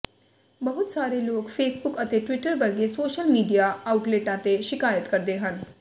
ਬਹੁਤ ਸਾਰੇ ਲੋਕ ਫੇਸਬੁੱਕ ਅਤੇ ਟਵਿੱਟਰ ਵਰਗੇ ਸੋਸ਼ਲ ਮੀਡੀਆ ਆਉਟਲੇਟਾਂ ਤੇ ਸ਼ਿਕਾਇਤ ਕਰਦੇ ਹਨ